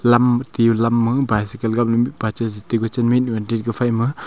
lam tiyu lam ma bycycle gapla mihpa chai chitai gachen ma mihnu han chitai phai ma.